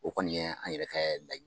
O kɔni ye an yɛrɛ ka la